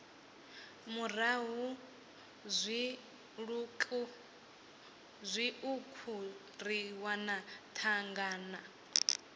murahu zwiṱuku ri wana thangana